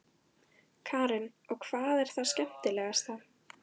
Karen: Og hvað er það skemmtilegasta?